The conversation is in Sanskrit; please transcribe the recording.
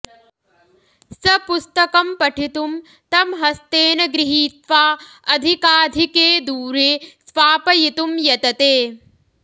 स पुस्तकं पठितुं तं हस्तेन गृहीत्वा अधिकाधिके दूरे स्वापयितुं यतते